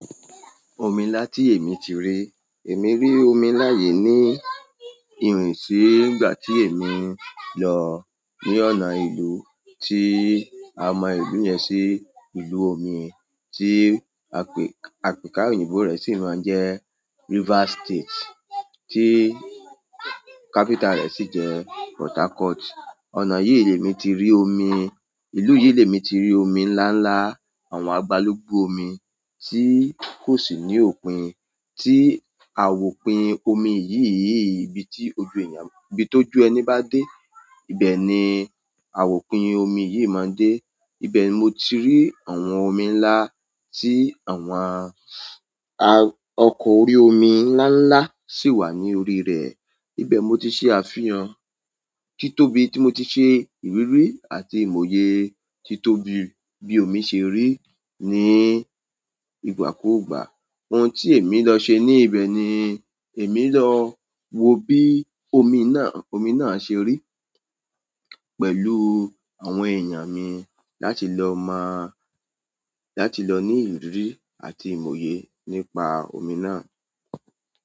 Omi ńlá tí èmi ti rí, èmi rí omi ńlá yìí ní ìrìnsi nígbà tí èmi lọ ní ọ̀nà ìlú tí a mọ ìlú yẹn sí ìlú omi tí àpèka òyìnbó rẹ̀ sì máa ń jẹ́ River State, tí capital rẹ̀ sì jẹ́ Port Harcourt. Ọ̀nà yìí ni èmi ti rí omi, ìlú yìí ni èmi ti rí omi ńlá ńlá, àwọn àgbálùgbù omi tí kò sì ní òpin, tí àwòpin omi yìí ibi tí ojú èèyàn, ibi tó jù ẹni bá dé, ibẹ̀ ni àwòpin omi yìí máa dé. Ibẹ̀ ni mo ti rí àwọn omi ńlá tí àwọn ọkọ̀ orí omi ńlá ńlá sì wà ní orí rẹ̀. Ibẹ̀ mo ti ṣe àfihàn, títóbi tí mo ti ṣe ìrírí àti ìmòye títóbi bí omi ṣe rí ní ìgbàkúgbà. Ohun tí èmi lọ ṣe ní ibẹ̀ ni èmi lọ wo bí omi náà, omi náà ṣe rí pẹ̀lú àwọn èèyàn mi láti lọ mọ́, láti lọ ní ìrírí àti ìmòye nípa omi náà.